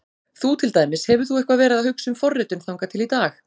Þú til dæmis, hefur þú eitthvað verið að hugsa um forritun þangað til í dag?